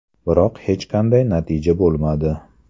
Biroq hech qanday natija bo‘lmadi.